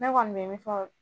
Ne kɔni bɛ min fɔ.